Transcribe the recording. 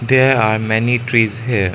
there are many trees here.